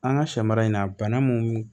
An ka sɛ mara in na bana mun